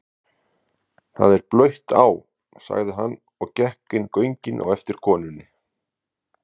Það er blautt á, sagði hann og gekk inn göngin á eftir konunni.